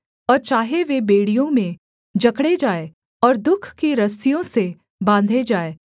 और चाहे वे बेड़ियों में जकड़े जाएँ और दुःख की रस्सियों से बाँधे जाए